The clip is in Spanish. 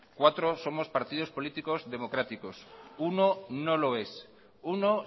cuatro somos partidos políticos democráticos uno no lo es uno